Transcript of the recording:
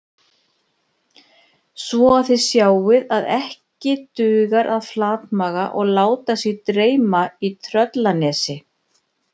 Svo að þið sjáið að ekki dugar að flatmaga og láta sig dreyma í Tröllanesi